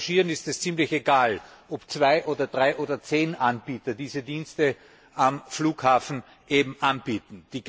Den Passagieren ist es ziemlich egal, ob zwei oder drei oder zehn Anbieter diese Dienste am Flughafen anbieten.